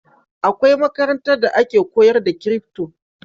Akwai makarantar da ake koyar da crypto